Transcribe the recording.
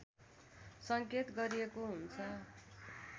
सङ्केत गरिएको हुन्छ